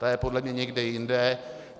Ta je podle mě někde jinde.